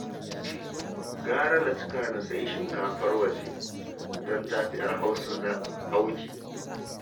Gara na cika na sayi shinkafar waje don ta fi 'yar Hausa auki